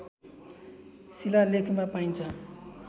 शिलालेखमा पाइन्छ